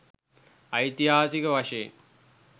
ඓතිහාසික වශයෙන්